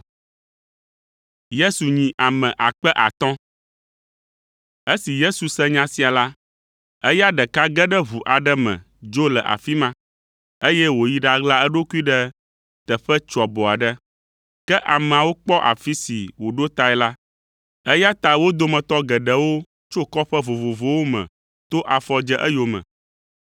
Esi Yesu se nya sia la, eya ɖeka ge ɖe ʋu aɖe me dzo le afi ma, eye wòyi ɖaɣla eɖokui ɖe teƒe tsoabo aɖe. Ke ameawo kpɔ afi si wòɖo tae la, eya ta wo dometɔ geɖewo tso kɔƒe vovovowo me to afɔ dze eyome.